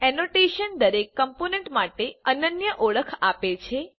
annotation દરેક component માટે અનન્ય ઓળખ આપે છે